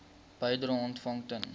bedrae ontvang ten